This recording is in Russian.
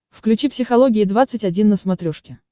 включи психология двадцать один на смотрешке